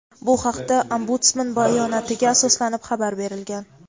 Bu haqda Ombudsman bayonotiga asoslanib xabar berilgan.